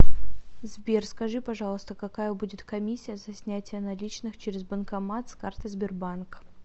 сбер скажи пожалуйста какая будет комиссия за снятие наличных через банкомат с карты сбербанк